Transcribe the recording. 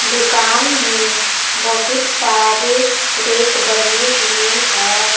दुकान में बहुत सारे रेक बने हुई है।